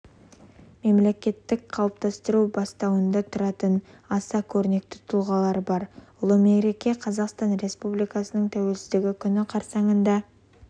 мемлекеттіліктің қалыптасу бастауында тұратын аса көрнекті тұлғалар бар ұлы мереке қазақстан республикасының тәуелсіздігі күні қарсанында